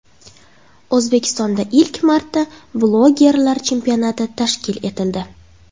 O‘zbekistonda ilk marta bloggerlar chempionati tashkil etildi.